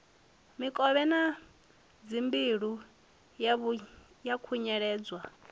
mikovhe na dzimbilo ha khunyeledzwa